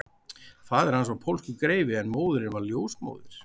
Faðir hans var pólskur greifi en móðirin var ljósmóðir